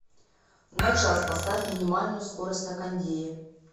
на час поставь минимальную скорость на кондее